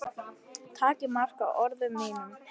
Takið mark á orðum mínum.